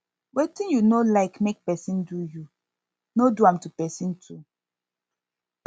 wetin yu no like no like mek pesin do yu no do am to pesin too